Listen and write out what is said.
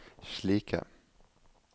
slike